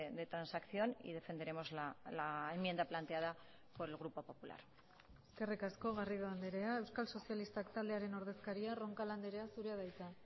de transacción y defenderemos la enmienda planteada por el grupo popular eskerrik asko garrido andrea euskal sozialistak taldearen ordezkaria roncal andrea zurea da hitza